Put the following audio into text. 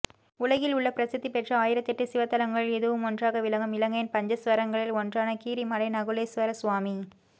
உலகில் உள்ள பிரசித்தி பெற்ற ஆயிரத்தெட்டு சிவத்தலங்களுள் இதுவும் ஒன்றாக விளங்கும் இலங்கையின் பஞ்சஸ்வரங்களில் ஒன்றான கீரிமலை நகுலேஸ்வரசுவாமி